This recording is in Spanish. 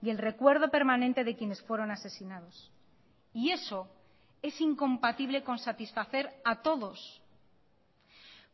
y el recuerdo permanente de quienes fueron asesinados y eso es incompatible con satisfacer a todos